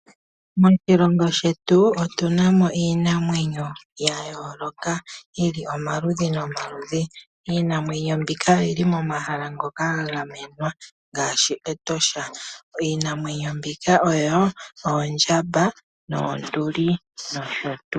Moshilongo shetu otu namo iinamwenyo ya yooloka yi li omaludhi nomaludhi. Iinamwenyo mbika oyi li momahala ngoka ga gamenwa ngaashi Etosha. Iinamwenyo mbika oyo oondjamba, oonduli nosho tuu.